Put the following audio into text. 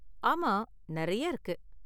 ஆமா, நெறைய இருக்கு.